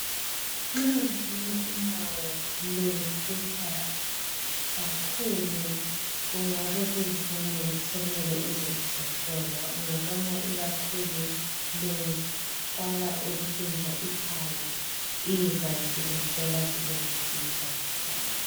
Nxa ungabona unyawo lufutha kakhulu kungabe kuyi sign yokuthi sokumele uze uzohlolwa .Ungabona ikakhulu luqala ukutshintsha icolour iza sizekuhlola sizekusiza.